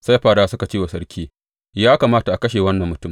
Sai fadawa suka ce wa sarki, Ya kamata a kashe wannan mutum.